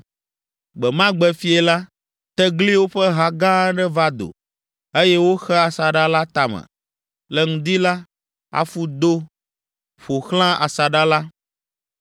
Gbe ma gbe fiẽ la, tegliwo ƒe ha gã aɖe va do, eye woxe asaɖa la tame. Le ŋdi la, afu do ƒo xlã asaɖa la,